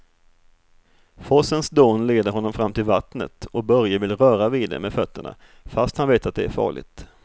Forsens dån leder honom fram till vattnet och Börje vill röra vid det med fötterna, fast han vet att det är farligt.